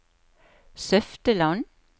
Søfteland